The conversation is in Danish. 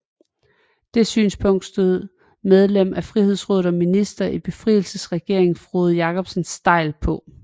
Det synspunkt stod medlem af Frihedsrådet og minister i befrielsesregeringen Frode Jakobsen stejlt på